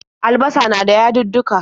Albasa na da yadudduka.